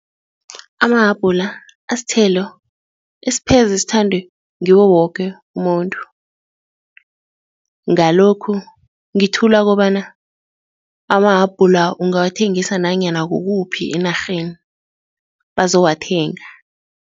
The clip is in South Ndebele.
Amahabhula asithelo esipheze sithandwe ngiwo woke umuntu ngalokhu ngithula kobana amahabhula ungawathengisa nanyana kukuphi enarheni bazowathenga.